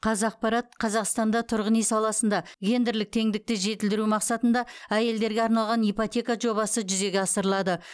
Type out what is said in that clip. қазақпарат қазақстанда тұрғын үй саласында гендерлік теңдікті жетілдіру мақсатында әйелдерге арналған ипотека жобасы жүзеге асырылады